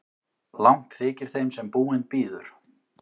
Langt þykir þeim sem búinn bíður.